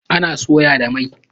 Ana soya da mai